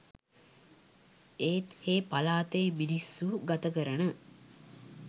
ඒත් හේ පළාතේ මිනිස්සු ගත කරන